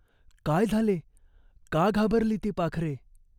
काय झाले ? का घाबरली ती पाखरे ?